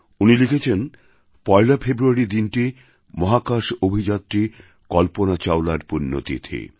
উনি লিখেছেন পয়লা ফেব্রুয়ারি দিনটি মহাকাশ অভিযাত্রী কল্পনা চাওলার পুণ্যতিথি